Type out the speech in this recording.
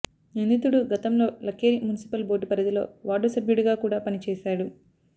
నిందితుడు గతంలో Lakheri municipal board పరిధిలో వార్డు సభ్యుడిగా కూడా పని చేశాడు